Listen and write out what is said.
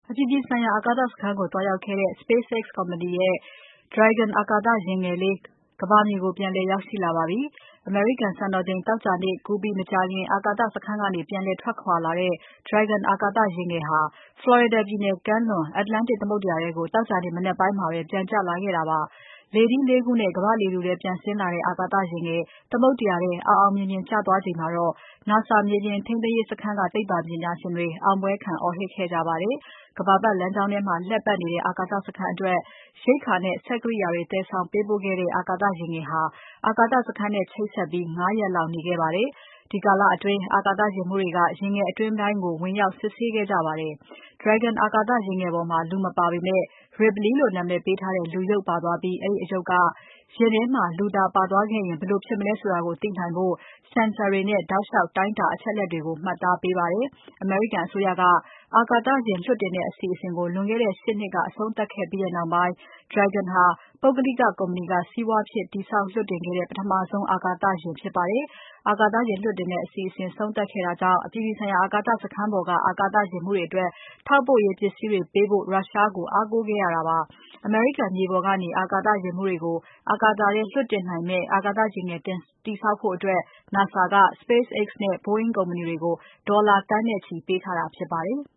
အပြည်ပြည်ဆိုင်ရာ အာကာသစခန်းကို သွားရောက်ခဲ့တဲ့ SpaceX ကုမ္ပဏီရဲ့ Dragon အာကာသ ယာဉ်ငယ်လေးဟာ ကမ္ဘာမြေကို ပြန်လည် ရောက်ရှိလာခဲ့ပါပြီ။ အမေရိကန်စံတော်ချိန် သောကြာနေ့ကူးပြီး မကြာခင် အာကာသစခန်းကနေ ပြန်လည်ထွက်ခွာလာတဲ့ Dragon အာကာသ ယာဉ်ငယ်ဟာ Florida ပြည်နယ်ကမ်းလွန် Atlantic သမုဒ္ဒရာထဲကို သောကြာနေ့ မနက်ပိုင်းမှာပဲ ပြန်ကျလာခဲ့တာပါ။ လေထီး ၄ ခုနဲ့ ကမ္ဘာ့လေထုထဲ ပြန်ရောက်လာတဲ့ အာကာသယာဉ်ငယ် သမုဒ္ဒရာထဲ အောင်အောင်မြင်မြင် ကျသွားချိန်မှာ NASA မြေပြင်ထိန်းသိမ်းရေးစခန်းက သိပ္ပံပညာရှင်တွေ အောင်ပွဲခံ အော်ဟစ်ခဲ့ကြပါတယ်။ ကမ္ဘာပါတ်လမ်းကြောင်းထဲမှာ လှည့်ပါတ်နေတဲ့ အာကာသစခန်းအတွက် ရိက္ခာနဲ့ စက်ကိရိယာတွေ သယ်ဆောင် ပေးပို့ခဲ့တဲ့ အာကာသယာဉ်ငယ်ဟာ အာကာသစခန်းနဲ့ ချိတ်ဆက်ပြီး ၅ ရက်လောက် နေခဲ့ပါတယ်။ အဲဒီကာလအတွင်း အာကာသယာဉ်မှူးတွေက ယာဉ်ငယ်အတွင်းပိုင်းကို ဝင်ရောက်စစ်ဆေးခဲ့ကြပါတယ်။ Dragon အာကာသ ယာဉ်ငယ်ပေါ်မှာ လူမပါမပေမဲ့ Ripley လို့နာမည်ပေးထားတဲ့ လူရုပ်ပါသွားပြီး အဲဒီအရုပ်က ယာဉ်ထဲမှာလူသာပါသွားခဲ့ရင် ဘယ်လိုဖြစ်မလဲဆိုတာကို သိနိုင်ဖို့ Sensor တွေနဲ့ တောက်လျှောက် တိုင်းတာ အချက်အလက်တွေကို မှတ်သားနေပါတယ်။ အမေရိကန်အစိုးရက အာကာသပေါ်ကို အာကာသယာဉ် လွှတ်တင်တဲ့ အစီအစဉ် လွန်ခဲ့တဲ့ ၈ နှစ်က အဆုံးသပ်ခဲ့ပြီးနောက်ပိုင်း Dragon ဟာပုဂ္ဂလိက ကုမ္ပဏီက စီးပွားဖြစ် တည်ဆောက် လွှတ်တင်ခဲ့တဲ့ ပထမဆုံး အာကာသယာဉ်ဖြစ်ပါတယ်။ အာကာသယာဉ်လွှတ်တဲ့ အစီအစဉ်ကို အဆုံးသတ်ခဲ့တာကြောင့် အပြည်ပြည်ဆိုင်ရာ အာကာသစခန်းပေါ်က အာကာသယာဉ်မှူးတွေအတွက် ထောက်ပို့ရေး ပစ္စည်းတွေပေးပို့ဖို့ ရုရှားကို အားကိုးနေရတာပါ။ အမေရိကန်မြေပေါ်ကနေ အာကာသယာဉ်မှူးတွေကို အာကာသထဲ လွှတ်တင်နိုင်မယ့် အာကာသ ယာဉ်ငယ် တည်ဆောက်ဖို့ NASA က SpaceX နဲ့ Boeing ကုမ္ပဏီတွေကို ဒေါ်လာသန်းနဲ့ချီ ပေးထားတာ ဖြစ်ပါတယ်။